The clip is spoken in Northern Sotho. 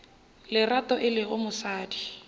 le lerato e lego mosadi